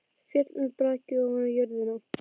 Féll með braki ofan á jörðina.